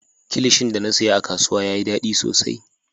Kilishin da na siya a kasuwa yayi daɗi sosai.